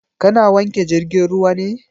Ka na wanke jirgin ruwa ne?